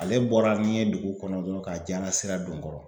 Ale bɔra n'i ye dugu kɔnɔ dɔrɔn k'a diara sira don n kɔrɔ.